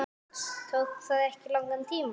Tók það ekki langan tíma?